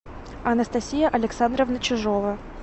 анастасия александровна чижова